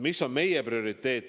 Mis on meie prioriteet?